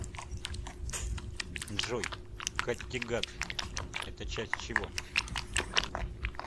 джой каттегат это часть чего